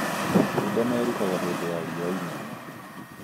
Matunda merũhaga hĩndĩ ya riũa inene